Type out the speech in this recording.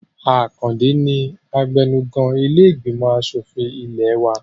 Àkàndé ni abẹnugan ilé ìgbìmọ̀ asòfin ilẹ̀ ẹ wa